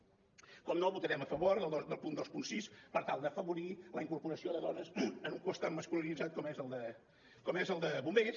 naturalment votarem a favor del punt vint sis per tal d’afavorir la incorporació de dones en un cos tan masculinitzat com és el de bombers